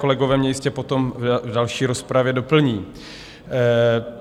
Kolegové mě jistě potom v další rozpravě doplní.